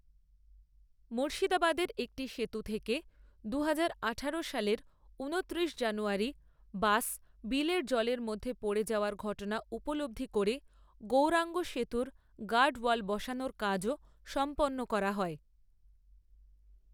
মুর্শিদাবাদের একটি সেতু থেকে দুহাজার আঠারো সালের ঊনত্রিশ জানুয়ারি বাস বিলের জলের মধ্যে পড়ে যাওয়ার ঘটনা উপলব্ধি করে গৌরাঙ্গ সেতুের গার্ডওয়াল বসানোর কাজও সম্পন্ন করা হয়।